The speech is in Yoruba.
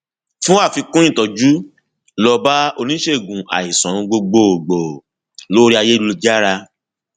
fún àfikún ìtọjú lọ bá oníṣègùn àìsàn gbogbo gbòò lóríayélujára